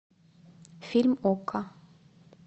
фильм окко